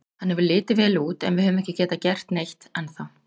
Hann hefur litið vel út en við höfum ekki getað gert neitt ennþá.